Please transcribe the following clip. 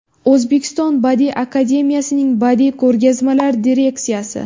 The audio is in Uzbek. O‘zbekiston Badiiy akademiyasining badiiy ko‘rgazmalar direksiyasi.